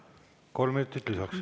Kolm minutit lisaks.